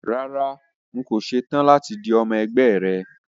Rárá, n kò ṣe tán láti di ọmọ ẹgbẹ́ rẹ